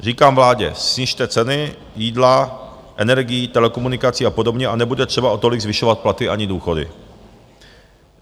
Říkám vládě, snižte ceny jídla, energií, telekomunikací a podobně a nebude třeba o tolik zvyšovat platy ani důchody.